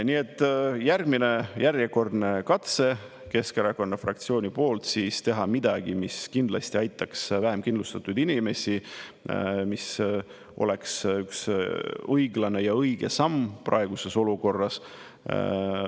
Nii et see on Keskerakonna fraktsiooni järgmine, järjekordne katse teha midagi, mis kindlasti aitaks vähem kindlustatud inimesi, mis oleks üks õiglane ja õige samm praeguses olukorras.